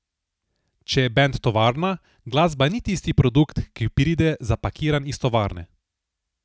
Če je bend tovarna, glasba ni tisti produkt, ki pride zapakiran iz tovarne.